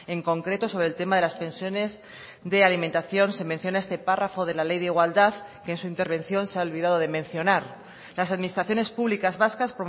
en concreto sobre el tema de las pensiones de alimentación se menciona este párrafo de la ley de igualdad que en su intervención se ha olvidado de mencionar las administraciones públicas vascas